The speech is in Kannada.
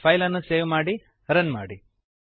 ಫೈಲನ್ನು ಸೇವ್ ಮಾಡಿ ರನ್ ಮಾಡಿ